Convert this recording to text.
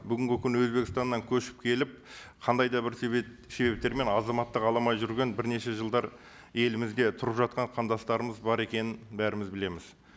бүгінгі күні өзбекстаннан көшіп келіп қандай да бір себептермен азаматтық ала алмай жүрген бірнеше жылдар елімізде тұрып жатқан қандастарымыз бар екенін бәріміз білеміз